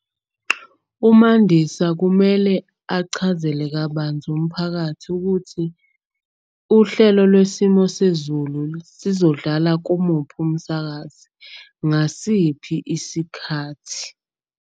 UMandisa kumele achazele kabanzi umphakathi ukuthi uhlelo lwesimo sezulu sizodlala kumuphi umsakazi. Ngasiphi isikhathi.